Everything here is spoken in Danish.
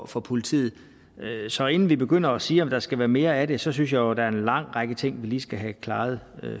for politiet så inden vi begynder at sige om der skal være mere af det synes jeg jo der er en lang række ting vi lige skal have klaret